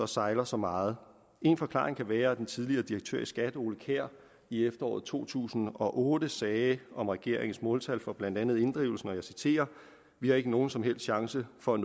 sejler så meget en forklaring kan være som den tidligere direktør i skat ole kjær i efteråret to tusind og otte sagde om regeringens måltal for blandt andet inddrivelsen og jeg citerer vi har ikke nogen som helst chance for